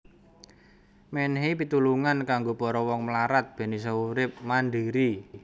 Mènèhi pitulungan kanggo para wong mlarat bèn isa urip mandhiri